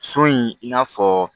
So in i n'a fɔ